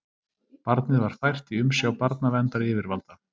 Barnið var fært í umsjá barnaverndaryfirvalda